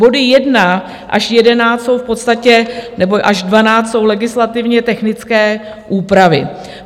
Body 1 až 11 jsou v podstatě - nebo až 12 - jsou legislativně technické úpravy.